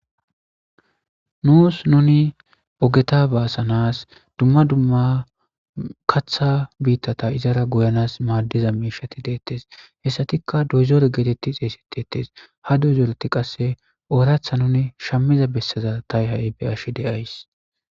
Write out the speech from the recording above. Nuus nuni ogeta baasanas dumma dumma katha biittata izara goyanas maaddiza miishati deettes hessatikka doyzoore geetetti xeesetetes ha doyzooreti qasse ooratha nuni shammiza bessaza ta ha'i be ashi deays